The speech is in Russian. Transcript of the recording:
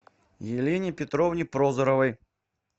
елене петровне прозоровой